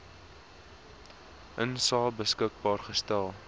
insae beskikbaar gestel